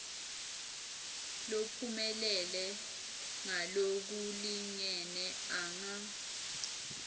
lophumelele ngalokulingene anga